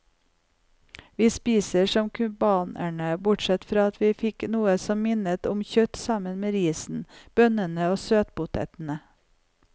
Vi spiste som cubanerne, bortsett fra at vi fikk noe som minnet om kjøtt sammen med risen, bønnene og søtpotetene.